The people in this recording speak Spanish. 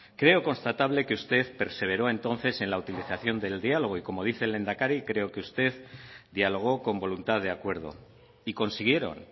creo constatable que usted perseveró entonces en la utilización del diálogo y como dice el lehendakari creo que usted dialogó con voluntad de acuerdo y consiguieron